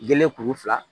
Gele kuru fila